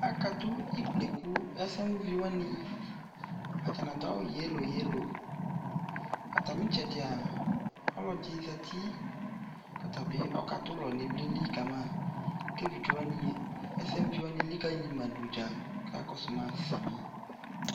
akatʋ ikplɛkʋ ɛsɛmʋ vi wani atani adʋ awʋ yellow yellow, atami itsɛdia ɔlɔdi zati kʋ ɔtabi ɔka dʋlɔ nʋ ivliɛli kama kʋ ɛvidzɛ wani, ɛvidzɛ wani ɛlikaliyi ma dʋ gya kʋ ɔkakɔsʋ ma sami